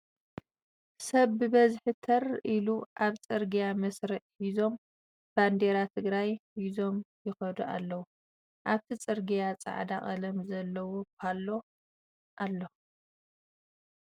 ሰብ ብበዝሒ ተር ኢሉ ኣብ ፅርግያ መስርዕ ሒዞም ባንዴራ ትግራይ ሒዞም ይከዱ ኣለዉ ። ኣብቲ ፅርግያ ፃዕዳ ቀለም ዘለዎ ባሎ ኣሎ።